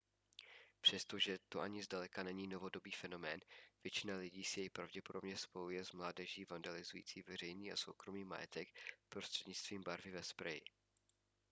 přestože to ani zdaleka není novodobý fenomén většina lidí si jej pravděpodobně spojuje s mládeží vandalizující veřejný a soukromý majetek prostřednictvím barvy ve spreji